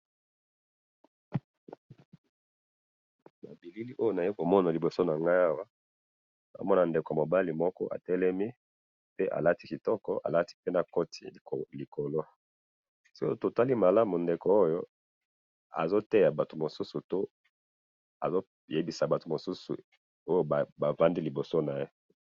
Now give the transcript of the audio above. na bilili oyo nazali komona na liboso nangai awa, nazomona ndeko mobali moko atelemi pe alati kitoko, alati pe na koti likolo, se totali malamu ndeko oyo azo te ya batu mosusu azo yebisa batu mosusu oyo bafandi liboso naye